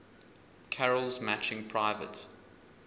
carol's matching private